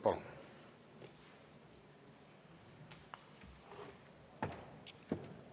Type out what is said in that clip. Palun!